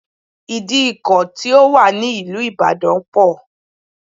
Ìdíkọ̀ ti ó wà ní ìlú ìbàdàn pọ̀